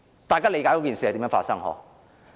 大家理解事情如何發生吧？